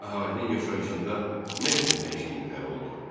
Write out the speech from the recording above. Əhalinin yaşayışında nə kimi dəyişikliklər oldu?